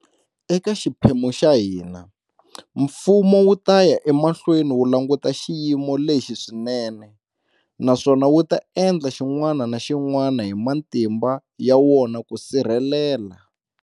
Eka xiphemu xa hina, mfumo wu ta ya emahlweni wu languta xiyimo lexi swinene naswona wu ta endla xin'wana na xin'wana hi matimba ya wona ku sirhelela